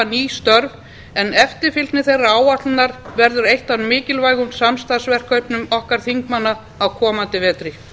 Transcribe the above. ný störf en eftirfylgni þeirrar áætlunar verður eitt af mikilvægum samstarfsverkefnum okkar þingmanna á komandi vetri